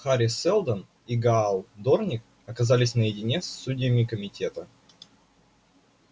хари сэлдон и гаал дорник оказались наедине с судьями комитета